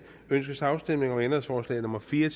ønskes afstemning om ændringsforslag nummer fire